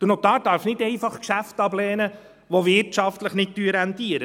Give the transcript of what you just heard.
Der Notar darf nicht einfach Geschäfte ablehnen, die wirtschaftlich nicht rentieren.